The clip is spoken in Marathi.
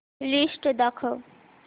लिस्ट दाखव